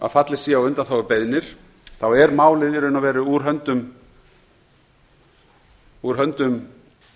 að fallist sé á undanþágubeiðnir er málið í raun og veru úr höndum